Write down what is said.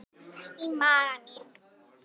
Í maga mín